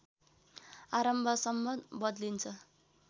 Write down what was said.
आरम्भसम्म बदलिन्छ